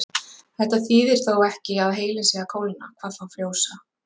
Þetta þýðir þó ekki að heilinn sé að kólna, hvað þá frjósa.